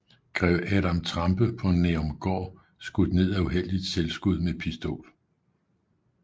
Greve Adam Trampe på Nærumgaard skudt ned af uheldigt selvskud med Pistol